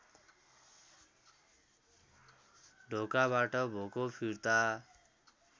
ढोकाबाट भोको फिर्ता